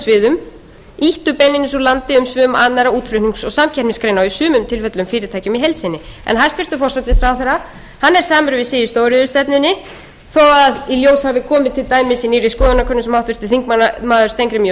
sviðum ýttu beinlínis úr landi umsvifum annarra útflutnings og samkeppnisgreina og í sumum tilfellum fyrirtækjum í heild sinni en hæstvirtur forsætisráðherra er samur við sig í stóriðjustefnunni þó að í ljós hafi komið til dæmis í nýrri skoðanakönnun sem háttvirtur þingmaður steingrímur j